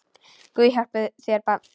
Guð hjálpi þér barn!